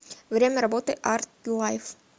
время работы артлайф